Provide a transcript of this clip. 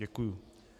Děkuji.